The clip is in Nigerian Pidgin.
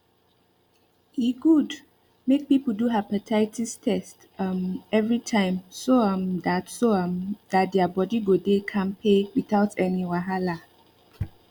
e good make people do hepatitis test um every time so um that so um that their body go dey kampe without any wahala